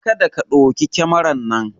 Kada ka ɗauki kamaran nan!